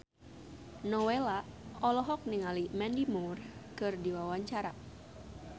Nowela olohok ningali Mandy Moore keur diwawancara